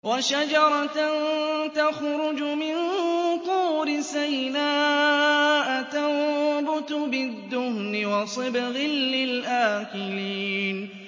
وَشَجَرَةً تَخْرُجُ مِن طُورِ سَيْنَاءَ تَنبُتُ بِالدُّهْنِ وَصِبْغٍ لِّلْآكِلِينَ